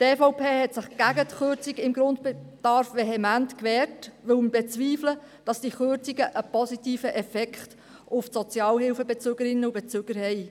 Die EVP hat sich vehement gegen die Kürzung beim Grundbedarf gewehrt, weil wir bezweifeln, dass diese Kürzungen einen positiven Effekt auf die Sozialhilfebezügerinnen und -bezüger haben.